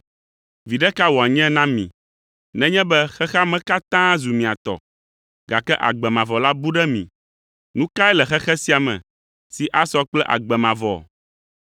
Viɖe ka wòanye na mi nenye be xexea me katã zu mia tɔ, gake agbe mavɔ la bu ɖe mi? Nu kae le xexe sia me si asɔ kple agbe mavɔ?